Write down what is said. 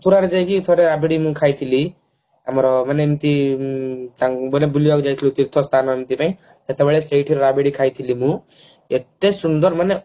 ମଥୁରା ରେ ଯାଇକି ଥରେ ରାବିଡି ମୁଁ ଖାଇଥିଲି ଆମର ମାନେ ଏମତି ମାନେ ବୁଲିବାକୁ ଯାଇଥିଲୁ ତୀର୍ଥ ସ୍ଥାନ ଏମତି ରେ ସେତେବେଳେ ସେଇଠି ରାବିଡି ଖାଇଥିଲି ମୁଁ ଏତେ ସୁନ୍ଦର ମାନେ